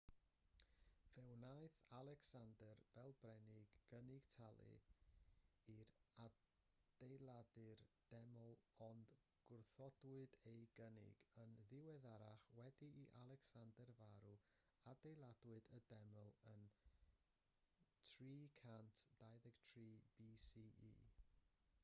fe wnaeth alecsander fel brenin gynnig talu i ailadeiladu'r deml ond gwrthodwyd ei gynnig yn ddiweddarach wedi i alecsander farw ailadeiladwyd y deml yn 323 bce